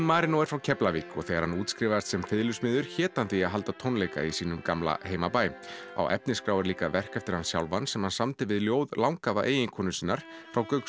Marinó er Keflvíkingur og þegar hann útskrifaðist sem fiðlusmiður hét hann því að halda tónleika í sínum gamla heimabæ á efnisskrá er líka verk eftir hann sjálfan sem hann samdi við ljóð langafa eiginkonu sinnar frá